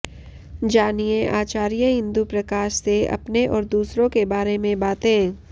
जानिए आचार्य इंदु प्रकाश से अपने और दूसरों के बारें में बातें